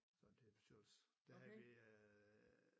Sådan til bestyrelsen der havde vi øh